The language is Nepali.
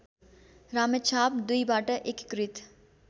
रामेछाप २बाट एकीकृत